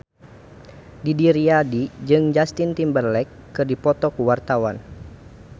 Didi Riyadi jeung Justin Timberlake keur dipoto ku wartawan